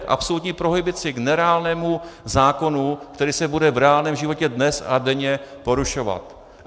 K absolutní prohibici, k nereálnému zákonu, který se bude v reálném životě dnes a denně porušovat.